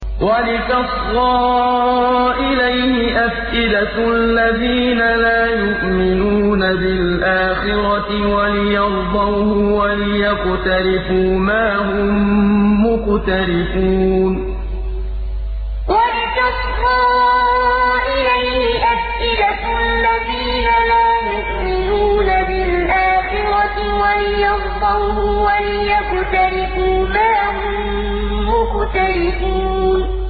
وَلِتَصْغَىٰ إِلَيْهِ أَفْئِدَةُ الَّذِينَ لَا يُؤْمِنُونَ بِالْآخِرَةِ وَلِيَرْضَوْهُ وَلِيَقْتَرِفُوا مَا هُم مُّقْتَرِفُونَ وَلِتَصْغَىٰ إِلَيْهِ أَفْئِدَةُ الَّذِينَ لَا يُؤْمِنُونَ بِالْآخِرَةِ وَلِيَرْضَوْهُ وَلِيَقْتَرِفُوا مَا هُم مُّقْتَرِفُونَ